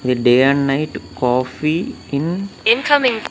ఇది day and night coffee in .